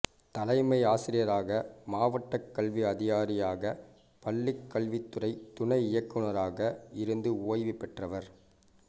தலைமை ஆசிரியராக மாவட்டக் கல்வி அதிகாரியாக பள்ளிக் கல்வித்துறை துணை இயக்குநராக இருந்து ஓய்வு பெற்றவர்